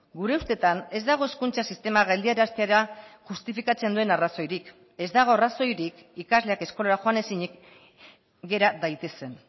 gure ustetan ez dago hezkuntza sistema geldiaraztera justifikatzen duen arrazoirik ez dago arrazoirik ikasleak eskolara joan ezinik gera daitezen